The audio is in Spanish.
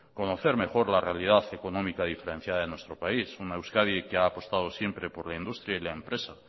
conocer mejor la realidad económica diferenciada en nuestro país una euskadi que ha apostado siempre por la industria y la empresa